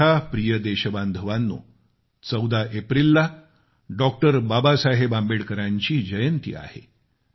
माझ्या प्रिय देशबांधवांनो 14 एप्रिलला डॉ बाबासाहेब आंबेडकर यांची जयंती आहे